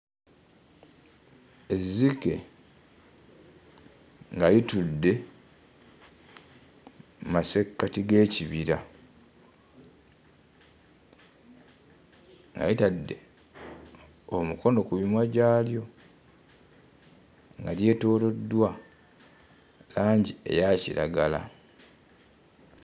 Ezzike nga litudde mmasekkati g'ekibira nga litadde omukono ku mimwa gyalyo nga lyetooloddwa langi eya kiragala.